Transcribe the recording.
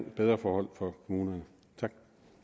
bedre forhold for kommunerne tak